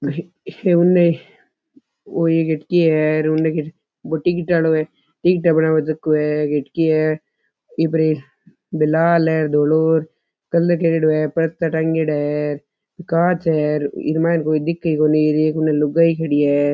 ओ उने कठे के है बो टिकट आळो है टिकटा बनाव झको है के ठा के है इ पर एक लाल धोळो कलर करेडो है पर्दा टाँगेड़ा है कांच है इ मायने कोई दिखे ही कोणी एक इन लुगाई खड़ी है।